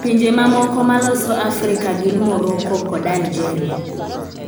Pinje mamoko maloso Afrika gin Morocco kod Algeria.